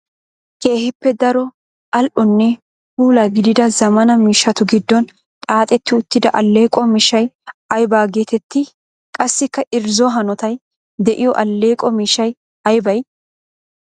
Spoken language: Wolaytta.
Keehippe daro ali'onne puula gididda zamaana miishshatu gidon xaaxxetti uttida aleeqo miishshay aybba geetetti? Qassikka irzzo hanotay de'iyo aleeqo miishshay aybbay?